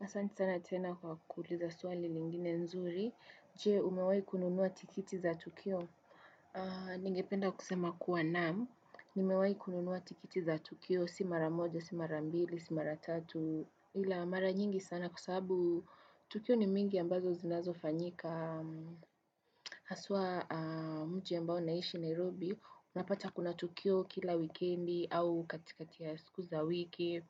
Na sante sana tena kwa kukuliza swali lingine nzuri, je umewai kununuwa tikiti za Tukio. Ningependa kusema kuwa namu, nimewai kununuwa tiketi za Tukio, si mara mojo, si mara mbili, si mara tatu, ila mara nyingi sana kusahabu Tukio ni mingi ambazo zinazo fanyika. Kwa haswa mtu ya mbao naishi Nairobi, unapata kuna tukio kila wikendi au katikati ya siku za wiki.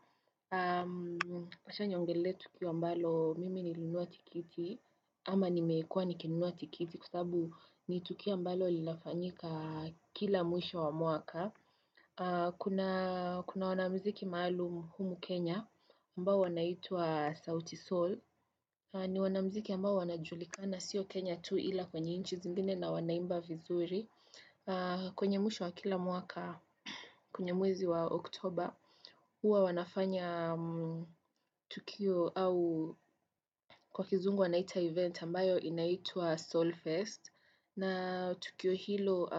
Acha niongele tukio mbalo mimi ni linua tiketi ama ni meekuwa ni kinua tiketi kusabu ni tukio mbalo lilafanyika kila mwisho wa muaka. Kuna wanamziki maalum humu Kenya ambao wanaitua sauti soul. Ni wanamziki ambao wanajulika na siyo Kenya tu ila kwenye inchi zingine na wanaimba vizuri. Kwenye mwisho wa kila mwaka, kwenye mwezi wa Oktober, huwa wanafanya tukio au kwa kizungu wanaita event ambayo inaitwa Soulfirst. Na tukio hilo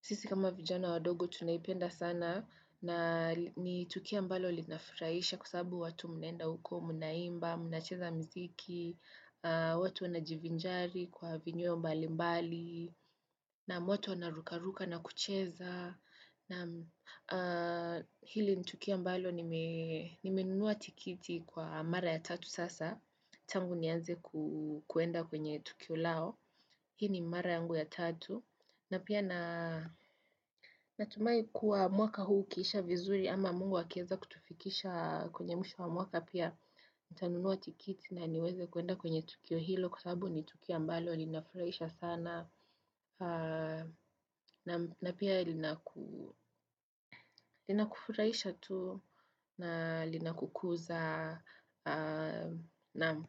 sisi kama vijana wadogo tunaipenda sana na ni tukia mbalo linafiraisha kusabu watu mnaenda huko mnaimba, mnacheza mziki, watu wana jivinjari kwa vinyo mbali mbali, naam watu wana rukaruka na kucheza. Na hili nitukio ambalo nimenua tiketi kwa mara ya tatu sasa Tangu nianze kuenda kwenye tukio lao Hii ni mara yangu ya tatu na pia natumai kuwa mwaka huu kisha vizuri ama mungu wa keza kutufikisha kwenye mwisho mwaka pia Ntanunua tikiti na niweze kuenda kwenye tukio hilo Kwa sabu nitukia ambalo linafuraisha sana na pia linakufuraisha tu na linakukuza naam.